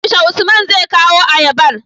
yaushe usman zai kawo ayabar?